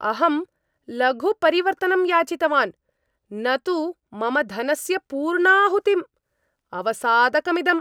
अहं लघु परिवर्तनं याचितवान्, न तु मम धनस्य पूर्णाहुतिं! अवसादकमिदम्।